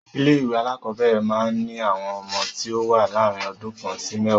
Ilé ìwé alákọ̀ọ́bẹ̀rẹ̀ máa ń ní àwọn ọmọ tí o wá láàrin ọdún kan sí mẹ́ẹ̀wá.